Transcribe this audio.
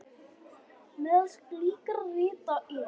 Meðal slíkra rita er